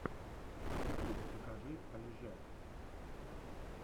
ютуб покажи олежэ